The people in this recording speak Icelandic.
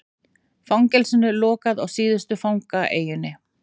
Fangelsinu lokað á síðustu fangaeyjunni